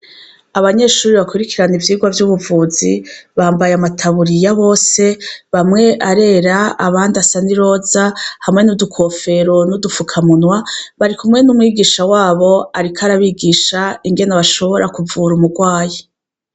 Abanyeshuri bakurikirana ivyirwa vy'ubuvuzi bambaye amataburiya bose bamwe arera abandi asani loza hamwe n'udukofero n'udufukamunwa bari kumwe n'umwigisha wabo, ariko arabigisha ingene bashobora kuvura umurwaye.